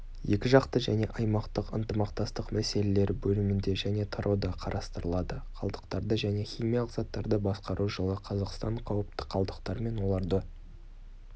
екіжақты және аймақтық ынтымақтастық мәселелері бөлімінде және тарауда қарастырылады қалдықтарды және химиялық заттарды басқару жылы қазақстан қауіпті қалдықтар мен оларды